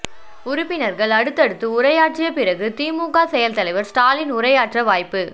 உறுப்பினர்கள் அடுத்தடுத்து உரையாற்றிய பிறகு திமுக செயல் தலைவர் ஸ்டாலின் உரையாற்ற வாய்ப்பு